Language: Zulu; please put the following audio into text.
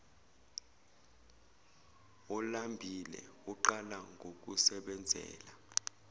olambile uqala ngokusebenzela